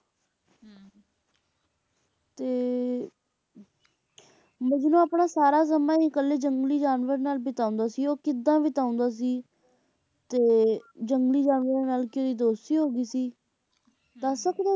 ਤੇ ਮਜਨੂੰ ਆਪਣਾ ਸਾਰਾ ਸਮਾਂ ਹੀ ਇਕੱਲੇ ਜੰਗਲੀ ਜਾਨਵਰ ਨਾਲ ਬਿਤਾਉਂਦਾ ਸੀ ਉਹ ਕਿਦਾਂ ਬਿਤਾਉਂਦਾ ਸੀ ਤੇ ਜੰਗਲੀ ਜਾਨਵਰਾਂ ਨਾਲ ਕੀ ਉਹਦੀ ਦੋਸਤੀ ਹੋਗੀ ਸੀ ਦੱਸ ਸਕਦੇ ਹੋ,